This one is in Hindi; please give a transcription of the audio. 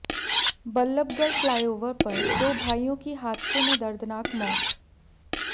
बल्लभगढ़ फ्लाइओवर पर दो भाइयों की हादसे में दर्दनाक मौत